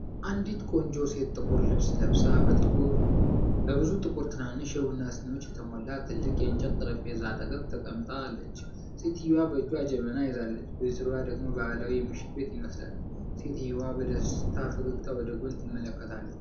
አንዲት ቆንጆ ሴት ጥቁር ልብስ ለብሳ፣ በብዙ ቁጥር ትናንሽ የቡና ሲኒዎች በተሞላበት ትልቅ የእንጨት ጠረጴዛ አጠገብ ተቀምጣለች። ሴትየዋ በእጇ ጀበና ይዛለች፤ በዙሪያዋ ደግሞ ባህላዊ የምሽት ቤት ይመስላል። ሴትየዋ በደስታ ፈገግታ ወደ ጎን ትመለከታለች።